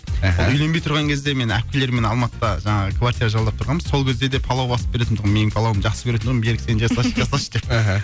аха үйленбей тұрған кезде мен әпкелеріммен алматыда жаңағы квартира жалдап тұрғанбыз сол кезде де палау басып беретінтұғым менің палауымды жақсы көретінтұғын берік сен жасашы жасашы деп мхм